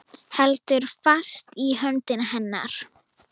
Heldur fast í hönd hennar.